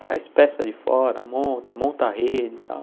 Traz peça de fora, monta, monta a rede e tal.